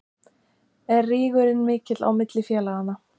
Er rígurinn mikill á milli félaganna?